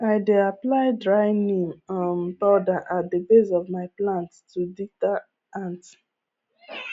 i dey apply dry neem um powder at the base of my plants to deter ants